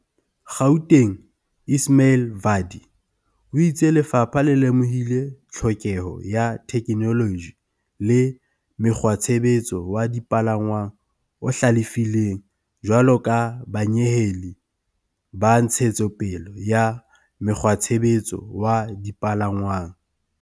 Gaut eng Ismail Vadi o itse lefapha le lemohile tlhokeho ya theke -noloji le mokgwatshebetso wa dipalangwang o hlalefileng jwalo ka banyeheli ba ntshetso pele ya mokgwatshebetso wa dipalangwang.